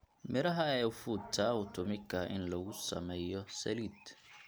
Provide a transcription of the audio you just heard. Midhaha ee ufuta hutumika in lagu sameeyo saliid.